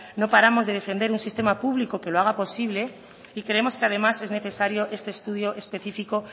no paramos de defender un sistema público que lo haga posible y creemos que además es necesario este estudio específico